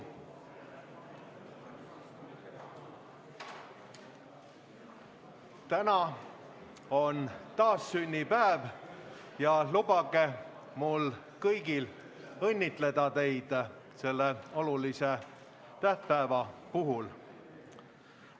Täna on taassünnipäev ja lubage mul õnnitleda teid kõiki selle olulise tähtpäeva puhul!